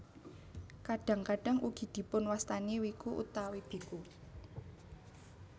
Kadhang kadhang ugi dipunwastani wiku utawi biku